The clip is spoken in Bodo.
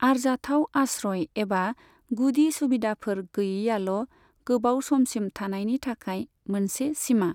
आरजाथाव आश्रय एबा गुदि सुबिदाफोर गैयैयाल' गोबाव समसिम थानायनि थाखाय मोनसे सीमा।